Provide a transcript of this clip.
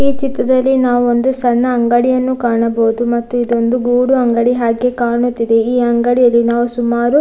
ಈ ಚಿತ್ರದಲ್ಲಿ ನಾವು ಒಂದು ಸಣ್ಣ ಅಂಗಡಿಯನ್ನು ಕಾಣಬಹುದು ಮತ್ತು ಇದೊಂದು ಗೂಡು ಅಂಗಡಿ ಹಾಗೆ ಕಾಣುತ್ತಿದೆ ಈ ಅಂಗಡಿಯಲ್ಲಿನಾವು ಸುಮಾರು.